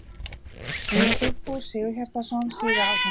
Sigfús Sigurhjartarson, síðar alþingismaður.